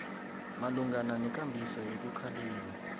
malungana nekambiso yokukhalima